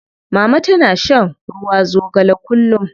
Mama tana shan ruwa zogale kullum.